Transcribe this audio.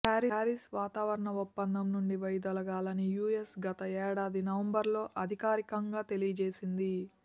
Paris వాతావరణ ఒప్పందం నుంచి వైదొలగాలని యూఎస్ గత ఏడాది నవంబర్లో అధికారికంగా తెలియజేసింది